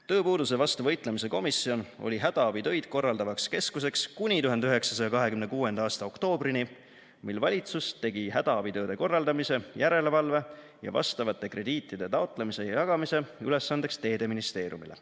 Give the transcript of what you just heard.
Tööpuuduse vastu võitlemise komisjon oli hädaabitöid korraldavaks keskuseks kuni 1926. aasta oktoobrini, mil valitsus tegi hädaabitööde korraldamise, järelevalve ja vastavate krediitide taotlemise ja jagamise ülesandeks teedeministeeriumile.